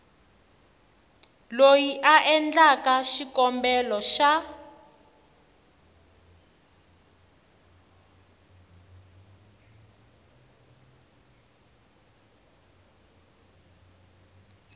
loyi a endlaku xikombelo xa